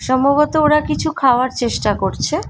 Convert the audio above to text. সম্ভবত ওরা কিছু খাওয়ার চেষ্টা করছে ।